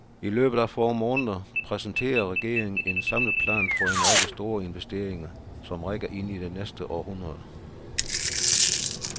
I løbet af få måneder præsenterer regeringen en samlet plan for en række store investeringer, som rækker ind i det næste århundrede.